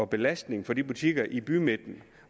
belastning for de butikker i bymidten